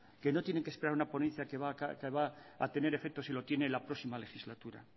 que no tienen que esperar una ponencia que va a tener efecto si lo tiene la próxima legislatura